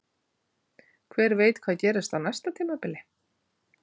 Hver veit hvað gerist á næsta tímabili?